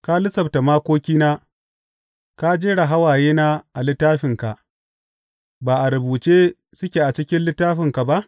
Ka lissafta makokina; ka jera hawayena a littafinka, ba a rubuce suke a cikin littafinka ba?